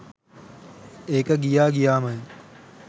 ඒක ගියා ගියාමයි.